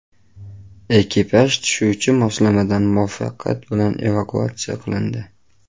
Ekipaj tushuvchi moslamadan muvaffaqiyat bilan evakuatsiya qilindi.